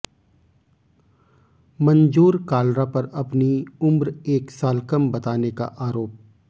मनजोर कालरा पर अपनी उम्र एक साल कम बताने का आरोप